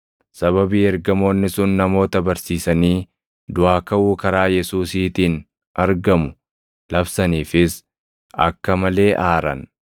Sababii ergamoonni sun namoota barsiisanii duʼaa kaʼuu karaa Yesuusiitiin argamu labsaniifis akka malee aaran.